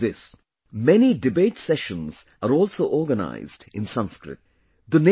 Not only this, many debate sessions are also organised in Sanskrit